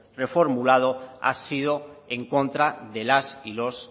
reformulado ha sido en contra de las y los